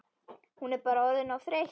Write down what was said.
Hún bara orðin of þreytt.